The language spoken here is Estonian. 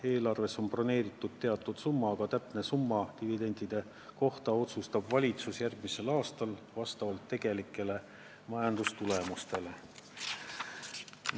Eelarves on broneeritud teatud summa, aga täpse dividendide summa otsustab valitsus järgmisel aastal vastavalt tegelikele majandustulemustele.